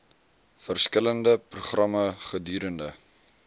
verskillende programme gedurende